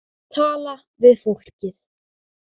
Tala við fólkið.